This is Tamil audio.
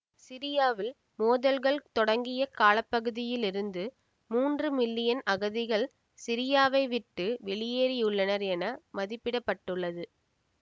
சிரியாவில் மோதல்கள் தொடங்கிய கால பகுதியில் இருந்து மூன்று மில்லியன் அகதிகள் சிரியாவை விட்டு வெளியேறியுள்ளனர் என மதிப்பிட பட்டுள்ளது